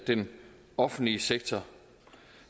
den offentlige sektor